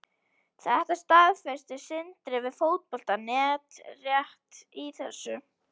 Þetta staðfesti Sindri við Fótbolta.net rétt í þessu.